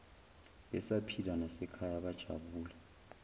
besaphila nasekhaya bajabula